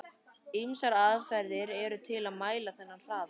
Ýmsar aðferðir eru til að mæla þennan hraða.